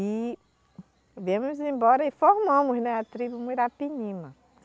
E viemos embora e formamos né a tribo Muirapinima.